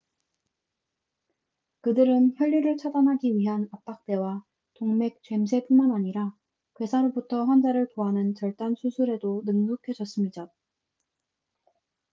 그들은 혈류를 차단하기 위한 압박대와 동맥 죔쇠뿐만 아니라 괴사로부터 환자를 구하는 절단 수술에도 능숙해졌습니다